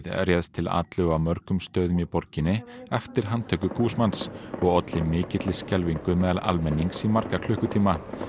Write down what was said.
réðst til atlögu á mörgum stöðum í borginni eftir handtöku og olli mikilli skelfingu meðal almennings í marga klukkutíma